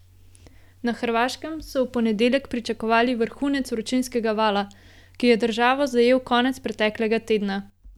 Na Hrvaškem so v ponedeljek pričakovali vrhunec vročinskega vala, ki je državo zajel konec preteklega tedna.